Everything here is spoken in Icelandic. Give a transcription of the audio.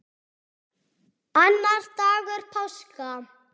Annar dagur páska.